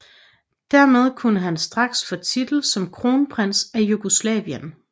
Dermed kunne han straks få titel som kronprins af Jugoslavien